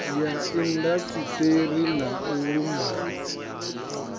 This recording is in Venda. ya indasiṱeri na u lumbama